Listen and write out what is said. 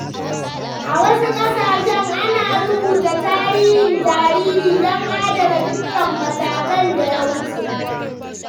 A wasu ƙasashen, ana rubuta tarihin jariri don adana dukkan matakan da ya wuce.